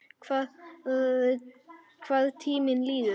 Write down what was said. Hvað tíminn líður!